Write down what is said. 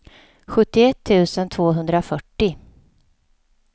sjuttioett tusen tvåhundrafyrtio